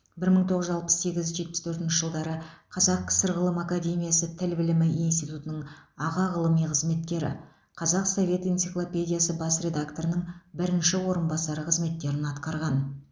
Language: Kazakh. бір мың тоғыз жүз алпыс сегіз жетпіс төртінші жылдары қазақ кср ғылым академиясы тіл білімі институтының аға ғылыми қызметкері қазақ совет энциклопедиясы бас редакторының бірінші орынбасары қызметтерін атқарған